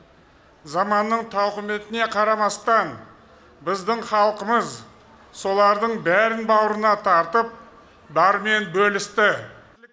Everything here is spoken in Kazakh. заманның тауқыметіне қарамастан біздің халқымыз солардың бәрін бауырына тартып барымен бөлісті